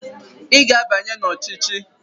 Ị ga-abanye n'ọchịchị!